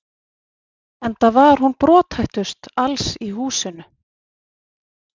Enda var hún brothættust alls í húsinu.